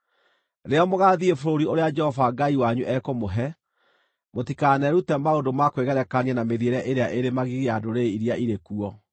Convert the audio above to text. Rĩrĩa mũgaathiĩ bũrũri ũrĩa Jehova Ngai wanyu ekũmũhe, mũtikanerute maũndũ ma kwĩgerekania na mĩthiĩre ĩrĩa ĩrĩ magigi ya ndũrĩrĩ iria irĩ kuo.